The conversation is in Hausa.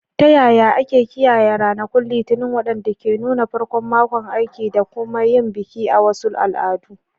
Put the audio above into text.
Ta yaya ake kiyaye ranakun Litinin, waɗanda ke nuna farkon makon aiki, da kuma yin bikin a wasu al'adu?